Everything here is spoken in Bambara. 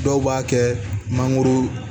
Dɔw b'a kɛ mangoro